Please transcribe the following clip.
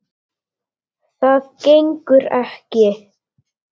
Það gengur ekki.